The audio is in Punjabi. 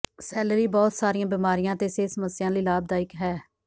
ਸੈਲਰੀ ਬਹੁਤ ਸਾਰੀਆਂ ਬਿਮਾਰੀਆਂ ਅਤੇ ਸਿਹਤ ਸਮੱਸਿਆਵਾਂ ਲਈ ਲਾਭਦਾਇਕ ਹੈ